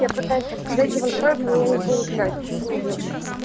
я пытаюсь зайти в интернет у меня не получается что мне делать